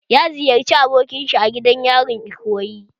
Ya ziyarci abokin shi a gidan yarin Ikoyi